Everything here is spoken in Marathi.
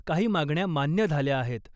काही मागण्या मान्य झाल्या आहेत .